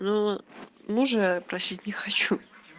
но мужа я просить не хочу